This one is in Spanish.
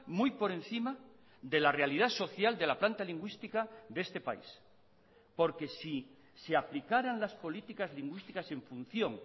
muy por encima de la realidad social de la planta lingüística de este país porque si se aplicaran las políticas lingüísticas en función